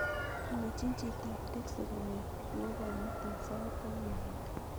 Mwachin chito ap teksi konyo nyo komutan sait taman langat